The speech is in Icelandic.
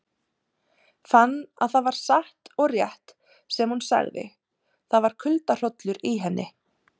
Fann að það var satt og rétt sem hún sagði, það var kuldahrollur í henni.